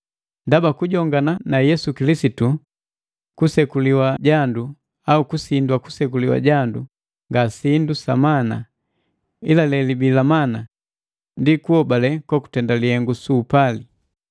Ndaba kujongana na Yesu Kilisitu, kusekuliwa jandu au kusindwa kusekuliwa jandu nga sindi sa maana, ila lelibii la maana ndi kunhobale kokutenda lihengu suu upali.